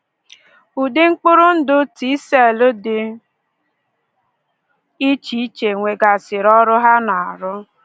Ụdị mkpụrụ ndụ T cell dị iche iche nwegasịrị ọrụ ha na-arụ